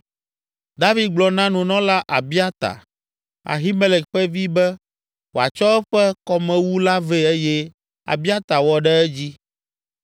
David gblɔ na nunɔla Abiata, Ahimelek ƒe vi be wòatsɔ eƒe kɔmewu la vɛ eye Abiata wɔ ɖe edzi.